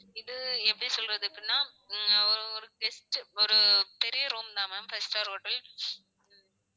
இது எப்படி சொல்றது அப்படினா உம் ஒரு அஹ் ஒரு guest ஒரு பெரிய room தா ma'am five star hotel